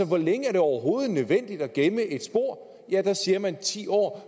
hvor længe er det overhovedet nødvendigt at gemme et spor ja der siger man ti år